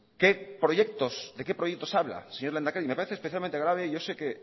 de qué proyectos habla señor lehendakari me parece especialmente grave y yo sé y